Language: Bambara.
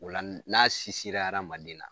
Ola n n'a adamanden na